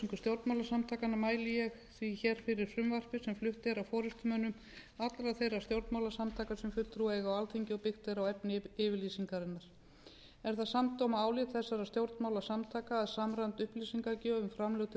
stjórnmálasamtakanna mæli ég því hér fyrir frumvarpi sem flutt er af forustumönnum allra þeirra stjórnmálasamtaka sem sæti eiga á alþingi og byggt er á efni yfirlýsingarinnar er það samdóma álit þessara stjórnmálasamtaka að samræmd upplýsingagjöf um framlög til